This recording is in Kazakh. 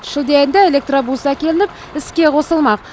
шілде айында электробус әкелініп іске қосылмақ